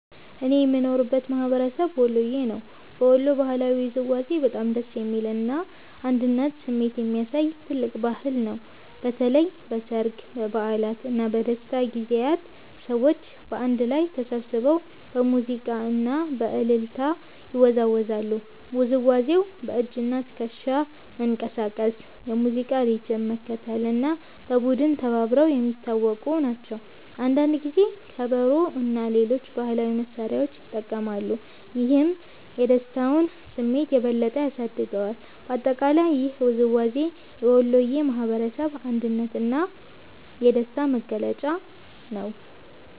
እኔ የምኖርበት ማህበረሰብ ወሎየ ነው። በወሎ ባህላዊ ውዝዋዜ በጣም ደስ የሚል እና የአንድነት ስሜት የሚያሳይ ትልቅ ባህል ነው። በተለይ በሠርግ፣ በበዓላት እና በደስታ ጊዜያት ሰዎች በአንድ ላይ ተሰብስበው በሙዚቃ እና በእልልታ ይወዛወዛሉ። ውዝዋዜው በእጅና ትከሻ መንቀሳቀስ፣ የሙዚቃ ሪትም መከተል እና በቡድን መተባበር የሚታወቁ ናቸው። አንዳንድ ጊዜ ከበሮ እና ሌሎች ባህላዊ መሳሪያዎች ይጠቀማሉ፣ ይህም የደስታውን ስሜት የበለጠ ያሳድገዋል። በአጠቃላይ ይህ ውዝዋዜ የወሎየ ማህበረሰብ የአንድነት እና የደስታ መገለጫ ነው።